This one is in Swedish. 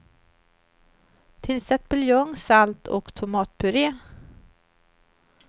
Tillsätt buljong, salt och tomatpure.